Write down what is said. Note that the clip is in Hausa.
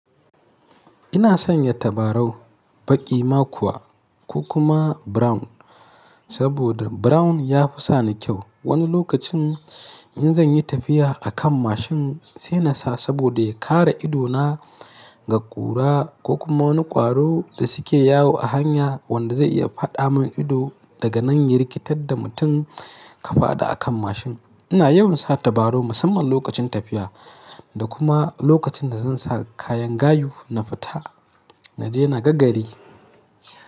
Ina sanya tabarau baƙi ma kuwa ko kuma brown saboda brown ya fi sani kyau. Wani lokacin in zan yi tafiya a kan mashin sai na sa saboda ya kare ido na daga ƙura ko kuma wani ƙwaro da suke yawo a hanya wanda zai iya fada mun ido daga nan ya rikitar da mutum ka fadi a kan mashin. Ina yawan sa tabarau musamman lokacin tafiya da kuma lokacin da zan sa kayan gayu na fita naje naga gari.